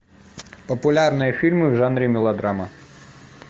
популярные фильмы в жанре мелодрама